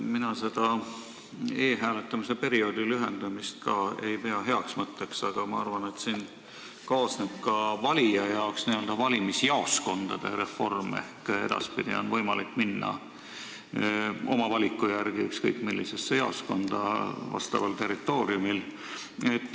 Ka mina ei pea e-hääletamise perioodi lühendamist heaks mõtteks, aga ma arvan, et valijale kaasneb siin n-ö valimisjaoskondade reform ehk edaspidi on võimalik minna oma valiku järgi ükskõik millisesse jaoskonda vastaval territooriumil.